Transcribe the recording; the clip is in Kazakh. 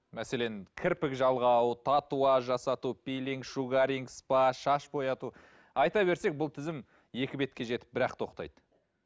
мәселен кірпік жалғау татуаж жасату пилинг шугарин спа шаш бояту айта берсек бұл тізім екі бетке жетіп бір ақ тоқтайды